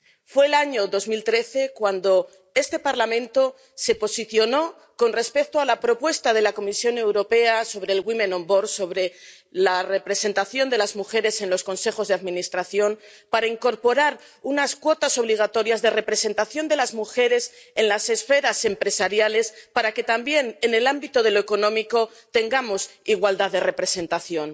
Fue en el año 2013 cuando este Parlamento se posicionó con respecto a la propuesta de la Comisión Europea sobre la representación de las mujeres en los consejos de administración para incorporar unas cuotas obligatorias de representación de las mujeres en las esferas empresariales, para que también en el ámbito de lo económico tengamos igualdad de representación.